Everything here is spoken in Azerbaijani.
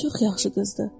çox yaxşı qızdır.